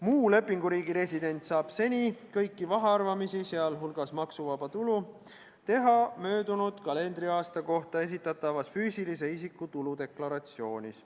Muu lepinguriigi resident saab seni kõiki mahaarvamisi, sh maksuvaba tulu, teha möödunud kalendriaasta kohta esitatavas füüsilise isiku tuludeklaratsioonis.